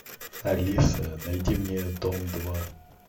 алиса найди мне дом два